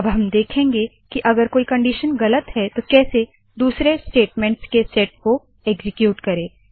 अब हम देखेंगे की अगर कोई कंडिशन गलत है तो कैसे दुसरे स्टेटमेंट्स के सेट को एक्सीक्यूट करे